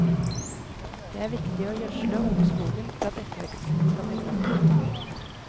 Det er viktig å gjødsle ungskogen for at etterveksten skal bli bra.